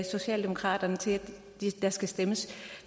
socialdemokraterne til at der skal stemmes